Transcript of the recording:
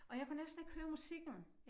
Og jeg kunne næsten ikke høre musikken